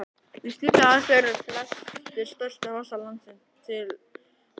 Við slíkar aðstæður eru flestir stærstu fossar landsins til orðnir.